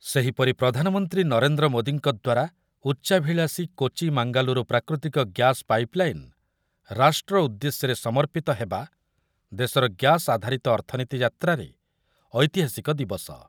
ସେହିପରି ପ୍ରଧାନମନ୍ତ୍ରୀ ନରେନ୍ଦ୍ର ମୋଦିଙ୍କ ଦ୍ୱାରା ଉଚ୍ଚାଭିଳାଷୀ କୋଚି ଓ ମାଙ୍ଗାଲୁରୁ ପ୍ରାକୃତିକ ଗ୍ୟାସ ପାଇପଲାଇନ ରାଷ୍ଟ୍ର ଉଦ୍ଦେଶ୍ୟରେ ସମର୍ପିତ ହେବା ଦେଶର ଗ୍ୟାସ ଆଧାରିତ ଅର୍ଥନୀତି ଯାତ୍ରାରେ ଐତିହାସିକ ଦିବସ